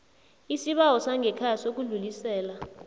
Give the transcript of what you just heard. isibawo sangekhaya sokudlulisela